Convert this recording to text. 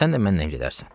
Sən də mənlə gedərsən.